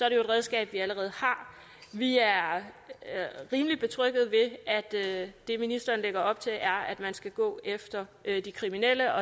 et redskab vi allerede har vi er rimelig betrygget ved at det ministeren lægger op til er at man skal gå efter de kriminelle